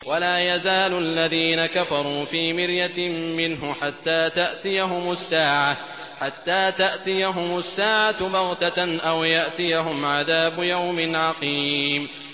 وَلَا يَزَالُ الَّذِينَ كَفَرُوا فِي مِرْيَةٍ مِّنْهُ حَتَّىٰ تَأْتِيَهُمُ السَّاعَةُ بَغْتَةً أَوْ يَأْتِيَهُمْ عَذَابُ يَوْمٍ عَقِيمٍ